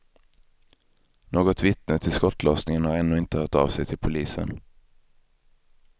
Något vittne till skottlossningen har ännu inte hört av sig till polisen.